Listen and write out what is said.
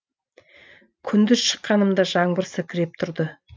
күндіз шыққанымда жаңбыр сіркіреп тұрды